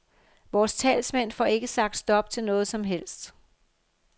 Vores talsmænd får ikke sagt stop til noget som helst.